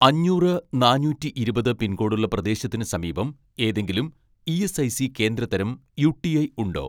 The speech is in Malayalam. അഞ്ഞൂറ് നാനൂറ്റിയിരുപത് പിൻകോഡുള്ള പ്രദേശത്തിന് സമീപം ഏതെങ്കിലും ഇ.എസ്.ഐ.സി കേന്ദ്ര തരം യു.ടി.ഐ ഉണ്ടോ